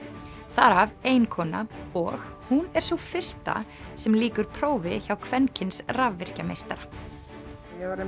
þar af ein kona og hún er sú fyrsta sem lýkur prófi hjá kvenkyns rafvirkjameistara ég var